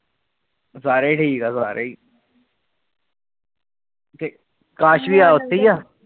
ਸਾਰੇ ਠੀਕ ਆ ਸਾਰੇ ਅਕਾਸ਼ ਵੀਰਾ ਉਥੇ ਆ